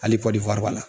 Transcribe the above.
Hali kɔli